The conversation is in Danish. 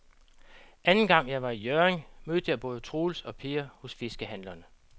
Anden gang jeg var i Hjørring, mødte jeg både Troels og Per hos fiskehandlerne.